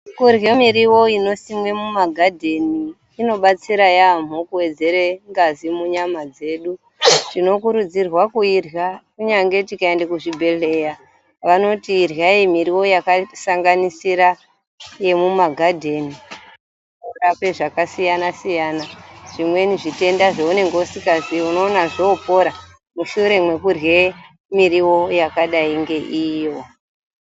Kurya miriwo inosimwe mumagadheni inobatsira yaamho kuwedzere ngazi munyama dzedu. Tinokurudzirwa kuirya kunyange tikaenda kuzvibhedhleya vanoti iryai miriwo yakasanganisira yemumagadheni kuda kwezavasiyana-siyana. Zvimweni zvitenda zvounonga usikazii unoona zvoopora mushure mekurye miriwo yakadai ngeiyo.